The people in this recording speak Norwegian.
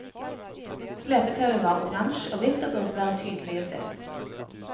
Slepetauet var orange og hvitt og burde være tydelig å se.